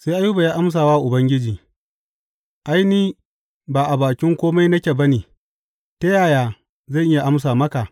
Sai Ayuba ya amsa wa Ubangiji, Ai, ni ba a bakin kome nake ba ne, ta yaya zan iya amsa maka?